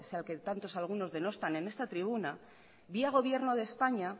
ese al que tantos algunos denostan en esta tribuna vía gobierno de españa